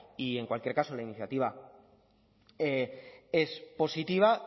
y en cualquier caso la iniciativa es positiva